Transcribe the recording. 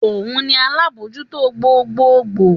Òun ni alábòójútó gbogbogbò